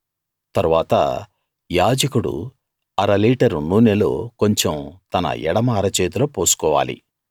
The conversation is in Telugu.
తరువాత యాజకుడు అరలీటరు నూనెలో కొంచం తన ఎడమ అరచేతిలో పోసుకోవాలి